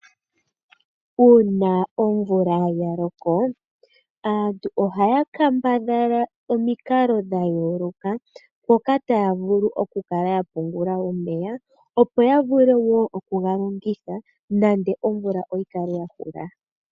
Uuna omvula yaloko, aantu ohaya kambadhala omikalo dhayooloka mpoka taya vulu okukala yapungula omeya opo yavule wo okugalongitha nande omvula oyikale yakula.